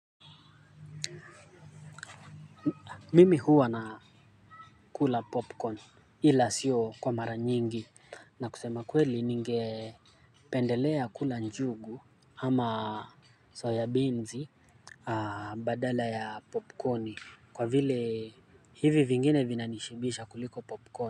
Mimi huwa ninakula popcorn ila sio kwa mara nyingi na kusema kweli ningependelea kula njugu ama soya binzi badala ya popkoni kwa vile hivi vingine vinanishibisha kuliko popcorn.